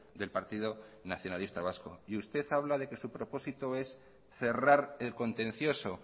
del partido nacionalista vasco y usted habla de que su propósito es cerrar el contencioso